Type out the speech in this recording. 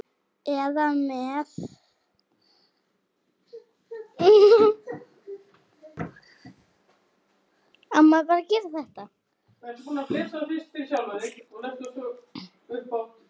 eða með